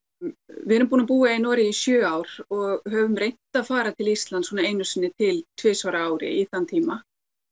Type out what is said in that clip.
við erum búin að búa í Noregi í sjö ár og höfum reynt að fara til Íslands svona einu sinni til tvisvar á ári í þann tíma